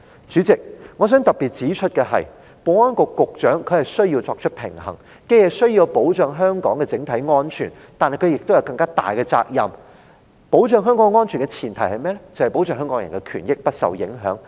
主席，我想特別指出，保安局局長需要作出平衡：他既需要保障香港的整體安全，但亦有更大的責任保障香港人的權益不受影響，因為這是保障香港安全的前提。